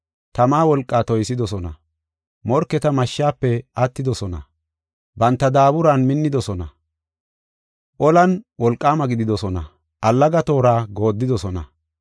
tama wolqaa toysidosona; morketa mashshafe attidosona; banta daaburan minnidosona; olan wolqaama gididosona; allaga toora goodidosona.